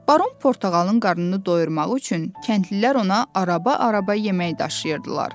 Baron Portağalın qarnını doyurmaq üçün kəndlilər ona araba-araba yemək daşıyırdılar.